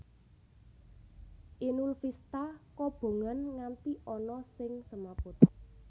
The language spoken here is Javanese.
Inul Vista kobongan nganti ana sing semaput